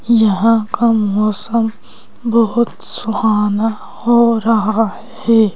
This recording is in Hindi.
यहां का मौसम बहुत सुहाना हो रहा है।